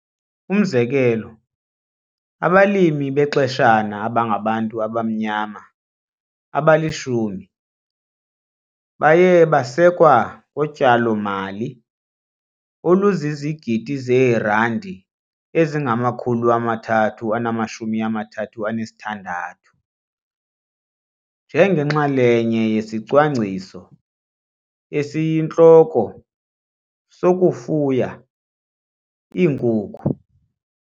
Umzekelo, abalimi bexeshana abangabantu abamnyama abali-10 baye basekwa ngotyalomali oluzizigidi zeerandi ezingama-336 njengenxalenye yesicwangciso esiyintloko sokufuya iinkukhu.